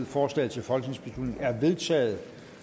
forslaget til folketingsbeslutning er vedtaget